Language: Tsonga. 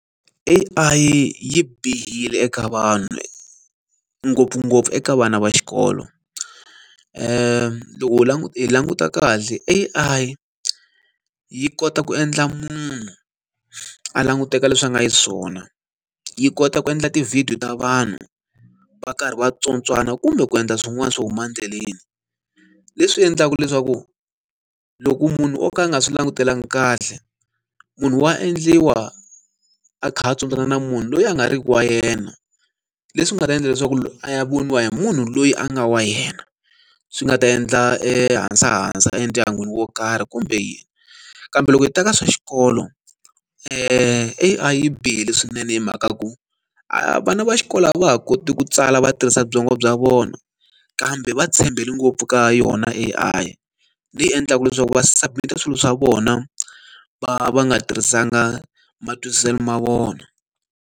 A_I yi bihile eka vanhu, ngopfungopfu eka vana va xikolo. Loko hi hi languta kahle, A_I yi kota ku endla munhu a languteka leswi a nga xiswona, yi kota ku endla tivhidiyo ta vanhu va karhi va tsontswana kumbe ku endla swin'wana swo huma endleleni. Leswi endlaka leswaku loko munhu o ka a nga swi langutelanga kahle, munhu wa endliwa a kha a tsontswana na munhu loyi a nga ri ki wa yena. Leswi nga ta endla leswaku a ya voniwa hi munhu loyi a nga wa yena, swi nga ta endla e hasahasa endyangwini wo karhi kumbe yini. Kambe loko hi ta ka swa xikolo, A_I yi bihile swinene hi mhaka ku a vana va xikolo a va ha koti ku tsala va tirhisa byongo bya vona, kambe va tshembele ngopfu ka yona A_I. Leyi endlaka leswaku va submit-a swilo swa vona va va nga tirhisanga matwisiselo ma vona.